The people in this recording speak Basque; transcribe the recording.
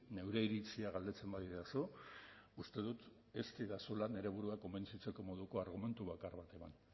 neure iritzia galdetzen badidazu uste dut ez didazula nire burua konbentzitzeko moduko argumentu bakar bat eman